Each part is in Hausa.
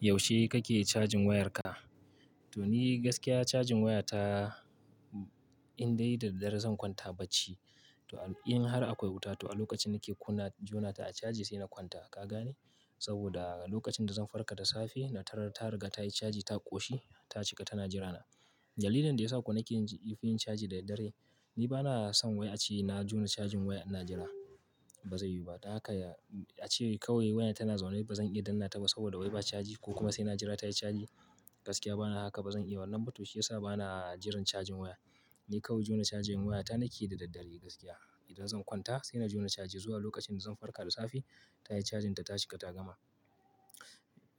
Yaushe kake cajin wayarka? To ni gaskiya cajin wayata in dai da dare zan kwanta bacci, to in har akwai wuta to a lokacin nake kuna jona ta a caji sai na kwanta. Ka gane? Saboda lokacin da zan farka da safe na tarar ta riga tayi caji ta ƙoshi ta cika tana jira na dalilin da ya sa ko nake yin caji da dare, ni ba na son a ce na jona cajin waya ina jira, ba zai yiwu ba. Dan haka ya, a ce kawai wayan tana zaune ba zan iya danna ta ba saboda wai ba caji ko kuma sai na jira tayi caji. Gaskiya bana haka ba zan iya, wannan ba to shi ya sa bana jiran cajin waya. Ni kawai jona cajin wayata nake yi da daddare gaskiya. Idan zan kwanta sai na jona caji zuwa lokacin da zan farka da safe tayi cajin ta ta cika ta gama.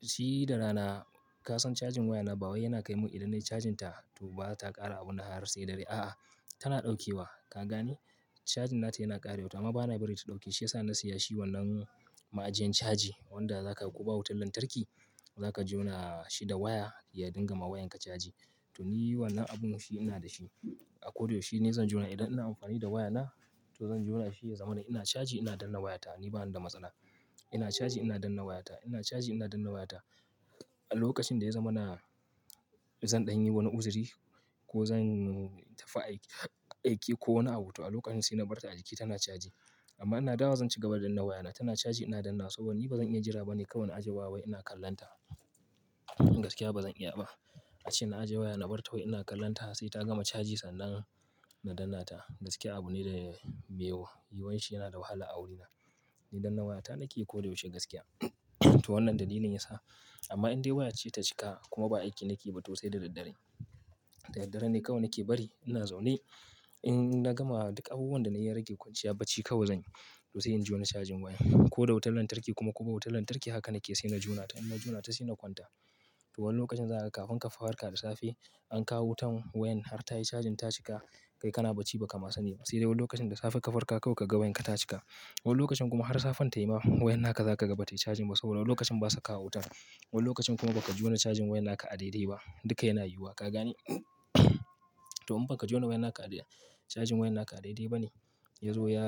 Shi da rana, ka san cajin waya na ba wai yana kai mun idan nayi cajin ta to ba ta ƙara abunnan har sai dare. A'a, tana ɗaukewa. Ka gane? Cajin nata yana ƙarewa, to amma bana bari ta ɗauke. Shi ya sa na siya shi wannan ma'ajiyan caji wanda zaka ko ba wutar lantarki, zaka jona shi da waya ya dinga ma wayanka caji. To ni wannan abun shi ina da shi. A ko da yaushe ni zan jona idan ina amfani da wayana to zan jona shi ya zama ina caji ina danna wayata. Ni bani da matsala. Ina caji ina danna wayata, ina caji ina danna wayata. A lokacin da ya zama na zan ɗanyi wani uzuri ko zan tafi aiki, aiki ko wani abu toh a lokacin sai na bar ta a jiki tana caji. Amma ina dawowa zan cigaba da danna wayana. Tana caji ina dannawa saboda ni ba zan iya jira bane kawai na aje waya wai ina kallonta. Gaskiya bazan iya ba a ce na aje waya na bar ta wai ina kallonta sai ta gama caji sannan na danna ta. Gaskiya abu ne da bai yiwuwa, yiwuwan shi yana da wahala a wurina. Ni danna wayata nake yi koyaushe gaskiya. To wannan dalilin ya sa. Amma in dai waya ce ta cika kuma ba aiki nake ba toh sai da daddare. Da daddare ne kawai nake bari ina zaune. In na gama duk abubuwan da nayi ya rage kwanciya bacci kawai zan yi to sai in jona cajin waya. Ko da wutar lantarki kuma ko ba wutar lantarki haka nake sai na jona ta. In na juna ta sai na kwanta. To wani lokacin zaka ga kafin ka farka da safe, an kawo wutan wayan har tayi cajin ta cika, kai kana bacci ba ka ma sani ba. Sai dai wani lokacin da safe ka farka kawai ka ga wayan ka ta cika. Wani lokacin kuma har safan tayi ma wayan naka za kaga bata yi caji ba saboda wani lokacin ba su kawo wutan. Wani lokacin kuma baka jona cajin wayan haka a daidai ba. Duka yana yiwuwa ka gane, to in baka jona cajin wayan naka a dai-dai bane yazo ya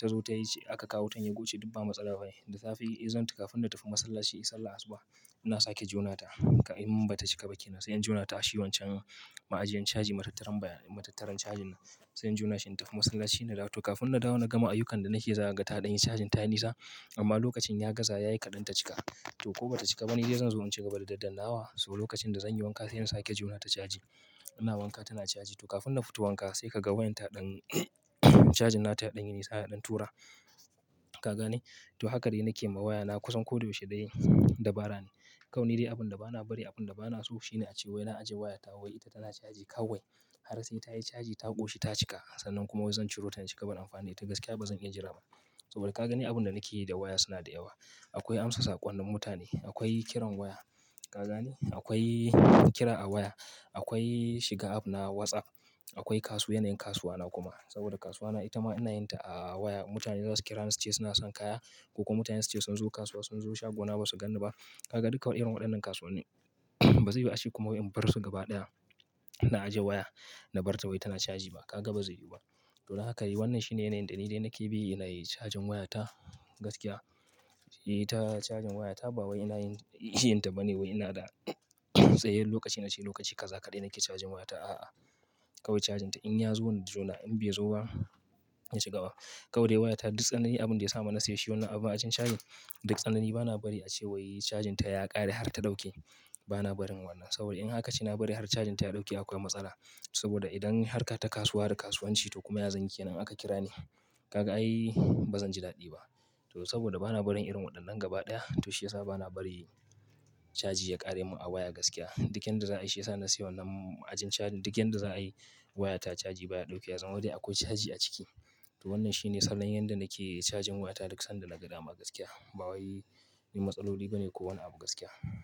tazo tayi aka kawo wutan ya goce duk ba matsala bane, da safe ya zamanto kafin na tafi masallaci in yi sallan asuba ina sake jona ta in mun bata cika ba kenan sai in jona ta a shi wancan ma'ajiyan caji matattaran baya, matattaran cajin nan sai in jona shi in tafi masallaci na dawo. To kafin na dawo na gama ayyukan da nake zakaga ta ɗanyi cajin ta yi nisa. Amma lokacin ya gaza yayi kaɗan ta cika. To ko bata cika ba ni dai zan zo in cigaba da daddanawa so lokacin da zanyi wanka sai in sake jona ta caji. Ina wanka tana caji. To kafin na fito wanka sai ka ga wayan ta ɗan cajin na ta ya ɗan yi nisa ya ɗan tura. Ka gane? To haka dai nake yi ma waya na kusan ko da yaushe dai dabara ne. Kawai ni dai abunda bana bari abunda bana so shine a ce wai na aje waya ta wai ita tana caji kawai. Har sai tayi caji ta ƙoshi ta cika sannan kuma wai zan ciro ta in ci gaba amfani da ita. Gaskiya bazan iya jira ba saboda kaga ni abunda nake yi da waya suna da yawa. Akwai amsa saƙonnin mutane, akwai kiran waya. Ka gane? Akwai kira a waya, akwai shiga app na WhatsApp, akwai kasu, yanayin kasuwa na kuma. Saboda kasuwa na ita ma ina yin ta a waya. Mutane zasu kira ni suce suna son kaya ko kuma mutane suce sun zo kasuwa sun zo shagona ba su ganni ba. Ka ga duka waɗannan irin waɗannan kasuwannin. Ba zai yiwu ace kuma wai in bar su gaba ɗaya. Na aje waya na bar ta wai tana caji ba. Ka ga ba zai yiwu ba. To don haka yi wannan shine yanayin da ni dai nake bi na yi cajin waya ta gaskiya. Ni ta cajin waya ta ba wai ina yin, yin ta ba ne wai ina da tsayayyan lokaci na ce lokaci kaza kaɗai nake cajin waya ta. A'a, kawai cajin ta in ya zo in jona in bai zo ba, in ci ba. Kawai dai wayata duk tsanani abunda yasa ma na sayi shi wannan abun cajin duk tsanani bana bari ace wai cajinta ya ƙare har ta ɗauke bana barin wannan. Saboda in haka ce na bari har cajin ta ya ɗauke akwai matsala. Saboda idan har ka ta kasuwa da kasuwanci toh kuma ya zanyi kenan in aka kira ni. Ka ga ai bazan ji daɗi ba. To saboda bana barin irin waɗannan gaba ɗaya toh shi ya sa bana bari caji ya ƙare mun a waya gaskiya. Duk yanda za a yi shi ya sa na siya wannan ma'ajin cajin duk yanda za a yi waya ta caji baya ɗaukewa ya zama dai akwai caji a ciki. To wannan shine salon yanda nake cajin waya ta duk sanda na ga dama gaskiya. Ba wai dan matsaloli bane ko wani abu gaskiya.